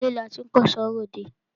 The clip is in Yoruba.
Ilé la tí k'ẹ̀ṣọ́ r'òdẹ.